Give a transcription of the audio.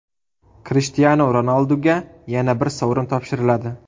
Krishtianu Ronalduga yana bir sovrin topshiriladi.